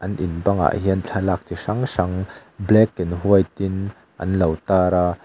in bangah hian thlalak chi hrang hrang black and white in anlo tar a.